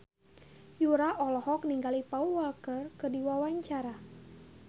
Yura olohok ningali Paul Walker keur diwawancara